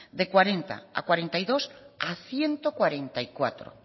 de cuarenta a berrogeita bi a ehun eta berrogeita lau